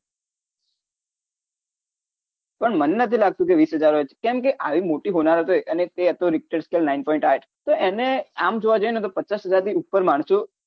પણ મન નથી લાગતું જે વીસ હજાર હોય કેમ કે આવી મોટી હોનારોત હોય તે હતો point આંઠ તો એને આમ જોવા જઈને તો પચાસ હજારથી ઉપર માણસો ચોક્કસ પણે મર્યા હોય